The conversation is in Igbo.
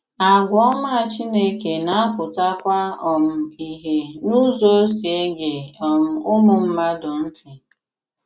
Àgwà òmá Chínèkè na-apụtakwà um ìhè n’ùzò ọ̀ si ege um ùmụ̀ mmàdù ntị.